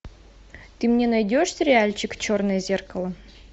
ты мне найдешь сериальчик черное зеркало